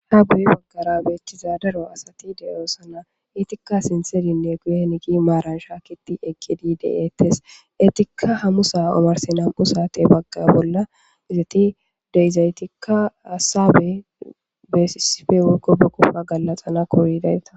Ha guye baggara beethiza daro asati de7oosana iitikka sinseninne guye henigi maaran shaakiti ekidi deeetes etikka hamusa omarsi nam7u saate bagga bolla izati deizaytikka aasabe beesisife mokko bokoppa gallaxana koridayta.